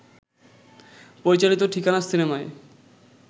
পরিচালিত ঠিকানা সিনেমায়